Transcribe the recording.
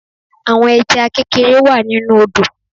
Àwọn Ẹja kékeré wá nínu odò